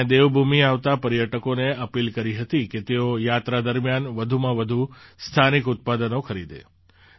મેં દેવભૂમિ આવતા પર્યટકોને અપીલ કરી હતી કે તેઓ યાત્રા દરમિયાન વધુમાં વધુ સ્થાનિક ઉત્પાદનો ખરીદે